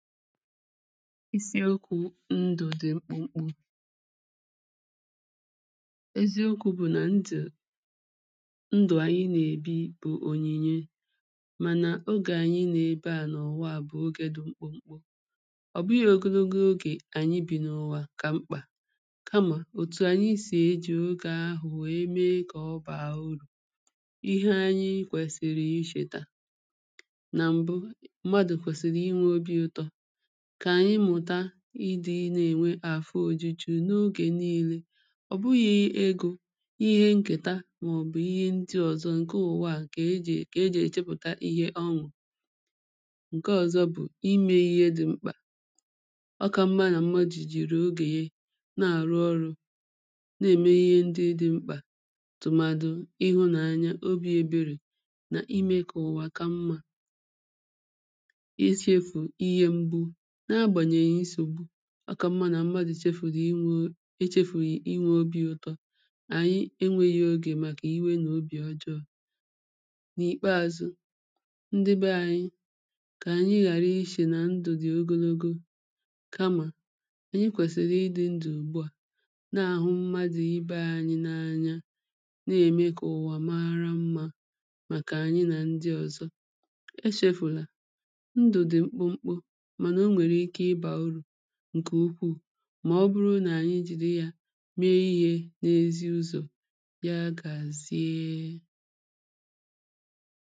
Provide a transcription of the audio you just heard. isiokwu̇ ndụ̀ dị̀ mkpụmkpụ. eziokwu̇ bụ̀ nà ndụ̀ ndụ̀ ànyị nà-èbi bụ̀ ònyìnye. mànà ogè ànyị nà-ebe à n’ụ̀wa à bụ̀ ogè dị̀ mkpụmkpụ ọ̀ bụghị ogonogo ogè ànyị bì n’ụ̀wà kà mkpà kamà òtù ànyi sì eji ogè ahụ̀ wèe mee kà ọ bàà urù ihe anyị kwèsìrì ichèta nà m̀bụ mmadụ kwesiri inwe ọbi ụtọ ịdị̇ na-ènwe afọ ojuju n’ogè niile ọ̀ bụghị̇ egȯ ihe nkèta màọ̀bụ̀ ihe ndị ọ̀zọ ǹke ụ̀wa à kà ejì kà ejì èchepụ̀ta ihe ọṅụ̀ ǹke ọ̀zọ bụ̀ imė ihe dị̇ mkpà ọka mma nà mmadụ̀ jì rùo ogè ye na-àrụ ọrụ̇ na-ème ihe ndị dị̇ mkpà tùmàdụ̀ ịhụ̇nàanya obi̇ eberè nà imė kà ụ̀wa kà mmȧ àkà m̀ma nà mmadụ̀ chefùrù inwė e chefùrù inwė obi̇ ụtọ̇ ànyi enwėghi̇ ogè màkà iwe nà obì ọjọọ̇ n’ìkpeazụ ndị be ànyi kà ànyi ghàra ishè nà ndụ̀ dị ogologo kamà ànyi kwèsìrì ịdị̇ ndụ̀ ùgbu à na-àhụ mmadụ̀ ibe ànyi n’anya na-ème kà ụ̀wà maara mmȧ màkà ànyi nà ndị ọ̀zọ eshėfùlà ǹkè ukwuù mà ọ bụrụ nà anyị jìri yȧ mee ihė n’ezi ụzọ̀ ya gàziee